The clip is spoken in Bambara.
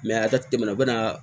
a ka teli u bɛ na